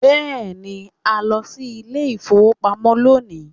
Yes, we are going to the bank today